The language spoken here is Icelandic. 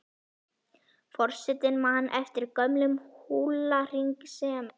Forsetinn man eftir gömlum húlahring sem